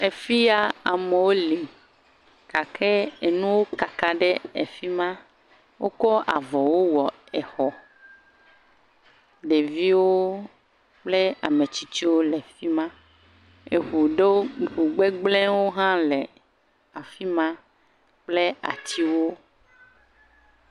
Fia, amewo li gake enuwo kaka ɖe fi ma, wokɔ avɔwo wɔ xɔ. Ɖeviwo kple ame tsitsiwo le fi ma. Ŋu ɖewo, ŋu gbegblẽwo ɖe hã le fi ma kple atiwo.